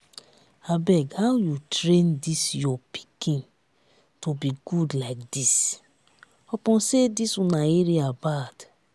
abeg how you train dis your pikin to be good like dis? upon say dis una area bad